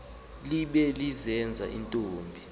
libe lizeke intombi